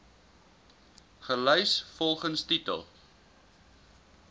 gelys volgens titel